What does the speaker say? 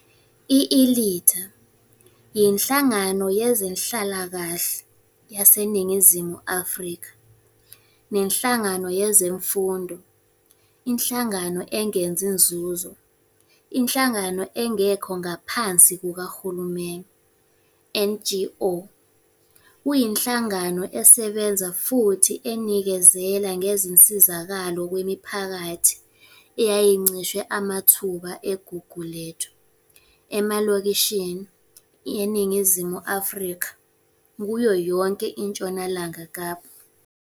I-Ilitha yinhlangano yezenhlalakahle yaseNingizimu Afrika nenhlangano yezemfundo, inhlangano engenzi nzuzo - inhlangano engekho ngaphansi kukahulumeni, NGO. Kuyinhlangano esebenza futhi enikezela ngezinsizakalo kwimiphakathi eyayincishwe amathuba eGugulethu, emalokishini, eNingizimu Afrika, kuyo yonke iNtshonalanga Kapa.